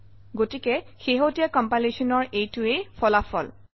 গতিকে শেহতীয়া compilation অৰ এইটোৱেই ফলাফল